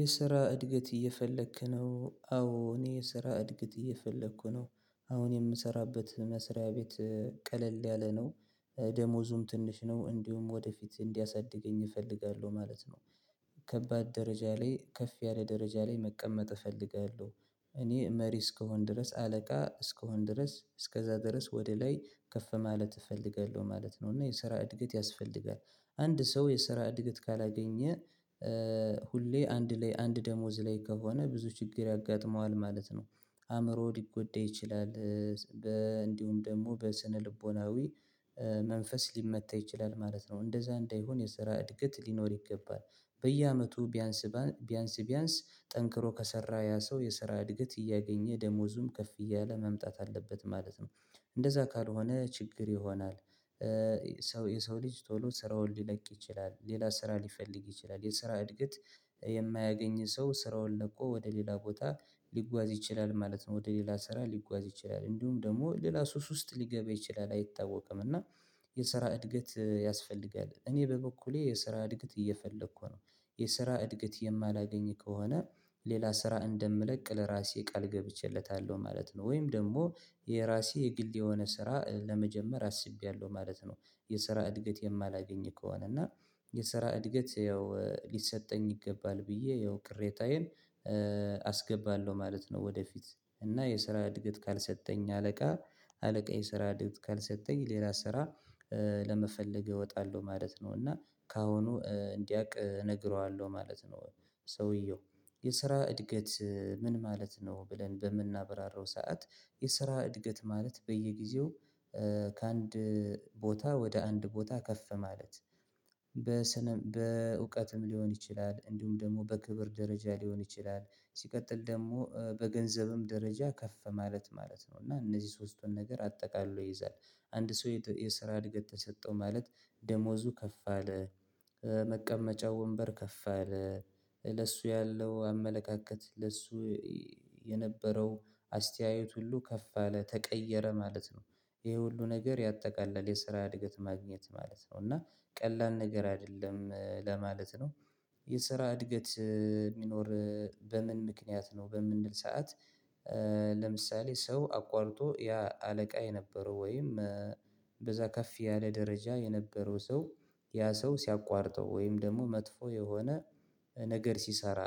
የስራ እድገት እየፈለክ ነው አዎ እኔ የስራ እድገት እየፈለኩ ነው አሁን የምሰራበት መስሪያ ቤት ቀለል ያለ ነው ደሞዙም ትንሽ ነው እንዲሁም ወደፊት እንዲያሳድገኝ እፈልጋለሁ ማለት ነው። ከባድ ደረጃ ላይ ከፍ ያለ ደረጃ ላይ መቀመጥ እፈልጋለሁ እኔ መሪ እስከሆን ድረስ አለቃ እስከሆን ድረስ እስከዛ ድረስ ወደ ላይ ከፍ ማለት እፈልጋለሁ ማለት ነው። እና የስራ እድገት ያስፈልጋል አንድ ሰው የስራ እድገት ካላገኘ ሁሌ አንድ ላይ አንድ ደሞዝ ላይ ከሆነ ብዙ ችግር ያጋጥመዋል ማለት ነው። አእምሮ ሊጎዳ ይችላል። እንዲሁም ደግሞ በስነ ልቦናዊ መንፈስ ሊመታ ይችላል ማለት ነው። እንደዛ እንዳይሆን የሰራ እድገት ሊኖር ይገባል። በየአመቱ ቢያንስ ቢያንስ ቢያንስ ጠንክሮ ከሰራ ያ ሰው የስራ እድገት እያገኘ ደሞዙም ከፍ እያለ መምጣት አለበት ማለት ነው። እንደዛ ካልሆነ ችግር ይሆናል። ሰው የሰው ልጅ ቶሎ ስራውን ሊለቅ ይችላል ሌላ ስራ ሊፈልግ ይችላል የስራ እድገት የማያገኝ ሰው ስራውን ለቆ ወደ ሌላ ቦታ ሊጓዝ ይችላል ማለት ነው። ወደ ሌላ ስራ ሊጓዝ ይችላል እንዲሁም ደግሞ ሌላ ሱስ ውስጥ ሊገባ ይችላል አይታወቅም እና የስራ እድገት ያስፈልጋል እኔ በበኩሌ የስራ እድግት እየፈለኩ ነው። የስራ እድግት የማላገኝ ከሆነ ሌላ ስራ እንደምለቅ ለራሴ ቃል ገብቼለታለሁ ማለት ነው። ወይም ደግሞ የራሴ የግል የሆነ ስራ ለመጀመር አስቤያለሁ ማለት ነው። የስራ እድገት የማላገኝ ከሆነ እና የስራ እድገት ያው ሊሰጠኝ ይገባል ብዬ ያው ቅሬታዬን አስገባለሁ ማለት ነው። ወደፊት እና የስራ እድገት ካልሰጠኝ አለቃ አለቃዬ ስራ እድገት ካልሰጠኝ ሌላ ስራ ለመፈለግ እወጣለሁ ማለት ነው እና ከአሁኑ እንዲያውቅ እነግረዋለሁ ማለት ነው። ሰውየው የስራ እድገት ምን ማለት ነው? ብለን በምናብራራው ሰዓት የስራ እድገት ማለት በየጊዜው ከአንድ ቦታ ወደ አንድ ቦታ ከፍ ማለት በእውቀትም ሊሆን ይችላል እንዲሁም ደግሞ በክብር ደረጃ ሊሆን ይችላል። ሲቀጥል ደግሞ በገንዘብም ደረጃ ከፍ ማለት ማለት ነው እና እነዚህ ሶስቱን ነገር አጠቃሎ ይይዛል። አንድ ሰው የስራ እድገት ተሰጠው ማለት ደሞዙ ከፍ አለ መቀመጫው ወንበር ከፍ አለ ለሱ ያለው አመለካከት ለሱ የነበረው አስተያየት ሁሉ ከፍ አለ ተቀየረ ማለት ነው። ይሄ ሁሉ ነገር ያጠቃለል የስራ እድገት ማግኘት ማለት ነው እና ቀላል ነገር አይደለም ለማለት ነው። የስራ እድገት የሚኖር በምን ምክንያት ነው በምንል ሰዓት ለምሳሌ ሰው አቋርጦ ያ አለቃ የነበረው ወይም በዛ ከፍ ያለ ደረጃ የነበረው ሰው ያ ሰው ሲያቋርጠው ወይም ደግሞ መጥፎ የሆነ ነገር ሲሰራ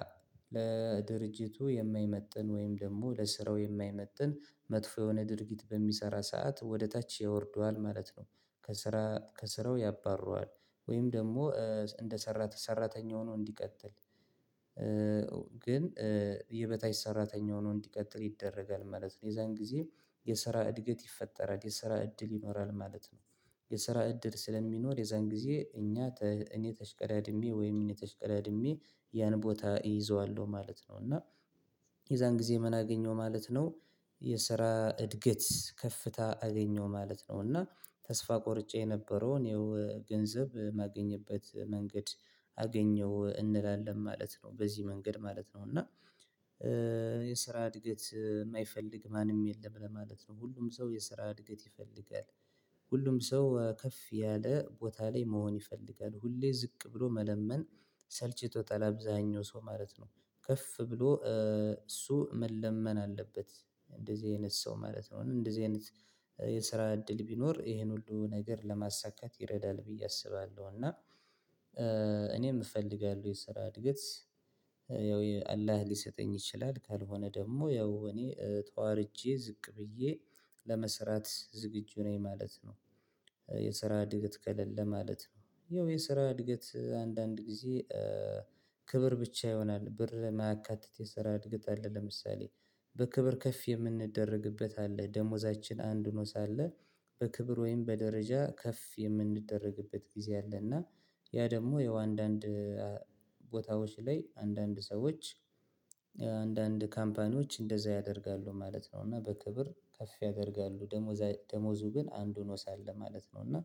ለድርጅቱ የማይመጥን ወይም ደግሞ ለስራው የማይመጥን መጥፎ የሆነ ድርጊት በሚሰራ ሰዓት ወደ ታች ያወርደዋል ማለት ነው። ከስራ ከስራው ያባርረዋል። ወይም ደግሞ እንደሰራ ሰራተኛ ሆኖ እንዲቀጥል ግን የበታች ሰራተኛ ሆኖ እንዲቀጥል ይደረጋል ማለት ነው። የዛን ጊዜ የስራ እድገት ይፈጠራል የስራ እድል ይኖራል ማለት ነው። የስራ እድል ስለሚኖር የዛን ጊዜ እኛ እኔ ተሽቀዳድሜ ወይም እኔ ተሽቀዳድሜ ያን ቦታ እይዘዋለሁ ማለት ነው። እና የዛን ጊዜ ምን አገኘው ማለት ነው። የስራ እድገት ከፍታ አገኘው ማለት ነው እና ተስፋ ቆርጬ የነበረው እኔው ገንዘብ ማገኝበት መንገድ አገኘው እንላለን ማለት ነው። በዚህ መንገድ ማለት ነው እና የስራ እድገት የማይፈልግ ማንም የለም ለማለት ነው ሁሉም ሰው የስራ እድገት ይፈልጋል። ሁሉም ሰው ከፍ ያለ ቦታ ላይ መሆን ይፈልጋል ሁሌ ዝቅ ብሎ መለመን ሰልችቶታል አብዛኛው ሰው ማለት ነው። ከፍ ብሎ እሱ መለመን አለበት። እንደዚህ አይነት ሰው ማለት ነው እንደዚህ አይነት የስራ እድል ቢኖር ይሄን ሁሉ ነገር ለማሳካት ይረዳል ብዬ አስባለሁ። እና እኔም እፈልጋለሁ የስራ እድገት ያው አላህ ሊሰጠኝ ይችላል ካልሆነ ደግሞ ያው እኔ ተዋርጄ ዝቅ ብዬ ለመስራት ዝግጁ ነኝ ማለት ነው። የስራ እድገት ከሌለ ማለት ነው ያው የስራ እድገት አንዳንድ ጊዜ ክብር ብቻ ይሆናል ብር የማያካትት የስራ እድገት አለ። ለምሳሌ በክብር ከፍ የምንደረግበት አለ ደሞዛችን አንድ ሆኖ ሳለ በክብር ወይም በደረጃ ከፍ የምንደረግበት ጊዜ አለ። እና ያ ደግሞ ያው አንዳንድ ቦታዎች ላይ አንዳንድ ሰዎች አንዳንድ ካምፓኒዎች እንደዛ ያደርጋሉ ማለት ነው። እና በክብር ከፍ ያደርጋሉ ደሞዙ ግን አንድ ሆኖ ሳለ ማለት ነው። እና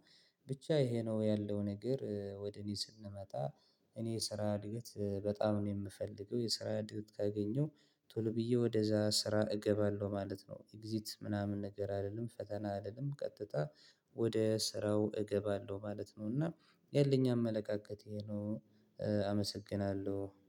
ብቻ ይሄ ነው ያለው ነገር ወደ እኔ ስንመጣ እኔ የስራ እድገት በጣም ነው የምፈልገው። የስራ እድገት ካገኘሁ ቶሎ ብዬ ወደዛ ስራ እገባለሁ ማለት ነው። ኤግዚት ምናምን ነገር አይደለም ፈተና አልልም ቀጥታ ወደ ስራው እገባለሁ ማለት ነው። እና ያለኝ አመለካከቴ ይህ ነው። አመሰግናለሁ